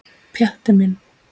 Pjatti minn.